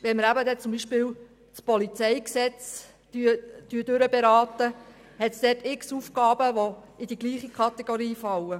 Wenn wir später das Polizeigesetz (PolG) beraten, gibt es dort diverse Aufgaben, die in die gleiche Kategorie fallen.